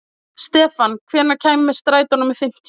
Stefan, hvenær kemur strætó númer fimmtíu?